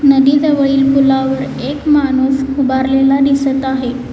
नदी जवळील पुलावर एक माणूस उभारलेला दिसत आहे.